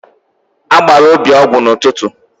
A gbara Obi ọgwụ n'ụtụtụ.